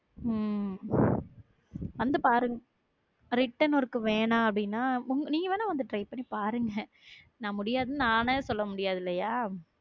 உம் வந்து பாரு written work வேணாம் அப்படின்னா நீ வேணா வந்து try பண்ணி பாருங்க நான் முடியாதுன்னு நானே சொல்ல முடியாது இல்லையா?